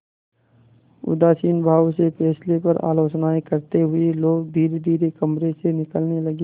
उदासीन भाव से फैसले पर आलोचनाऍं करते हुए लोग धीरेधीरे कमरे से निकलने लगे